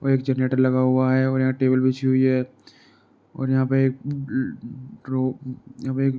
or एक generator लगा हुआ है ऑर एक टेबल बिछी हुई है ऑर यहां पे --